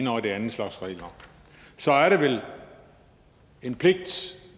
og den anden slags regler så er det vel en pligt